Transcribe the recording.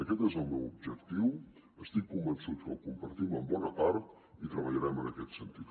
aquest és el meu objectiu estic convençut que el compartim en bona part i treballarem en aquest sentit